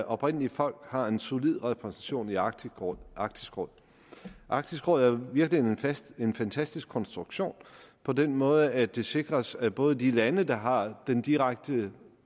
oprindelige folk har en solid repræsentation i arktisk råd arktisk råd arktisk råd er virkelig en fantastisk konstruktion på den måde at det sikres at både de lande der har den direkte